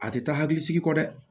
A tɛ taa hakili sigi kɔ dɛ